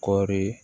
Kɔri